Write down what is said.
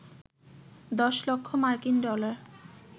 ১০ লক্ষ মার্কিন ডলার